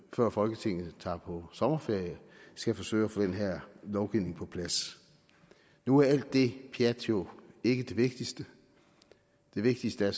før folketinget tager på sommerferie skal forsøge at få den her lovgivning på plads nu er alt det pjat jo ikke det vigtigste det vigtigste er